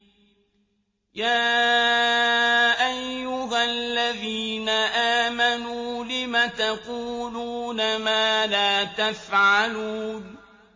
يَا أَيُّهَا الَّذِينَ آمَنُوا لِمَ تَقُولُونَ مَا لَا تَفْعَلُونَ